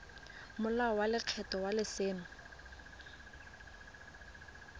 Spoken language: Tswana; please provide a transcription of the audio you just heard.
molao wa lekgetho wa letseno